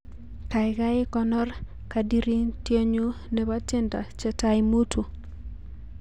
Kaikai konor kadiriotnyu nebo tiendo chetai mutu